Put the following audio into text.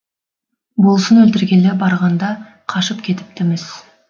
болысын өлтіргелі барғанда қашып кетіпті міс